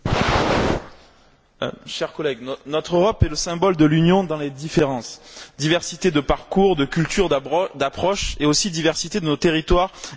Monsieur le Président, chers collègues, notre Europe est le symbole de l'Union dans les différences diversité de parcours, de cultures, d'approches, et aussi diversité de nos territoires et de nos terroirs.